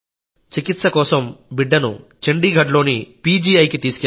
చికిత్స కోసం బిడ్డను చండీగఢ్లోని పీజీఐకి తీసుకెళ్లాం